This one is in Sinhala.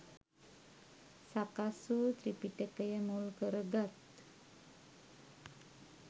සකස් වූ ත්‍රිපිටකය මුල්කරගත්